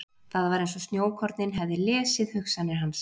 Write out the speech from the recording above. Það var eins og snjókornin hefði lesið hugsanir hans.